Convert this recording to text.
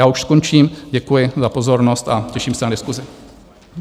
Já už skončím, děkuji za pozornost a těším se na diskusi.